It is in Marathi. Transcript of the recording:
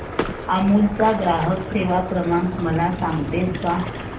अमूल चा ग्राहक सेवा क्रमांक मला सांगतेस का